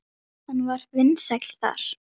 Hann var vinsæll þar.